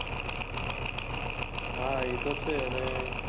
હા એ તો છે અને